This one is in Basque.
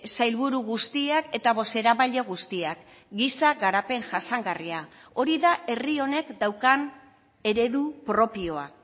sailburu guztiak eta bozeramaile guztiak giza garapen jasangarria hori da herri honek daukan eredu propioa